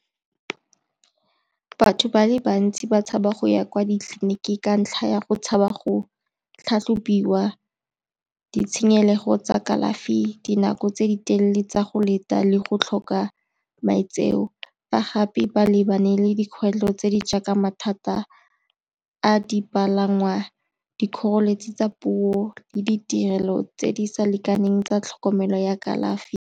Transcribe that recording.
Batho ba le bantsi ba tshaba go ya kwa ditleliniking ka ntlha ya go tshaba go tlhatlhobiwa, ditshenyego tsa kalafi, dinako tse di telele tsa go leta le go tlhoka maitseo. Fa gape ba lebane le dikgwetlho tse di jaaka mathata a dipalangwa, dikgoreletsi tsa puo le ditirelo tse di sa lekaneng tsa tlhokomelo ya kalafi.